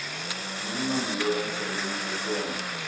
minimumloon verdien persone